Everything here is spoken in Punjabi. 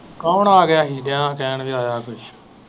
ਕੋਣ ਆ ਗਿਆ ਹੀ ਬੜਾ time ਲਾਇਆ ਤੂੰ।